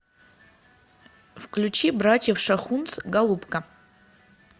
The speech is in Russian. включи братьев шахунц голубка